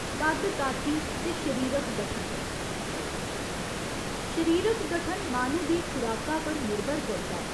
कद्द काठी ते शरीरक गठन, शरीरक गठन माह्‌नू दी खुराका पर निर्भर करदा ऐ।